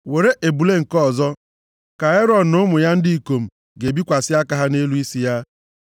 “Were ebule nke ọzọ, ka Erọn na ụmụ ya ndị ikom ga-ebikwasị aka ha nʼelu isi ya.